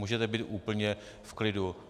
Můžete být úplně v klidu.